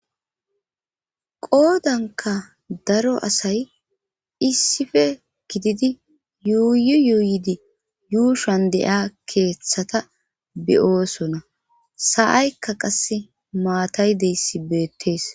qoodanka daro asay issife gididi yuuyu yuuyidi yuushan de7ia keeththata beyoosona sa7aykka qase maataydeyssi beettees